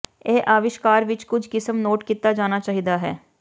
ਇਹ ਅਵਿਸ਼ਕਾਰ ਵਿਚ ਕੁਝ ਕਿਸਮ ਨੋਟ ਕੀਤਾ ਜਾਣਾ ਚਾਹੀਦਾ ਹੈ